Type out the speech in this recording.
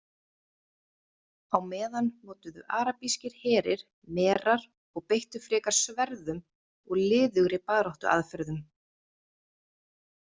Á meðan notuðu arabískir herir merar og beittu frekar sverðum og liðugri baráttuaðferðum.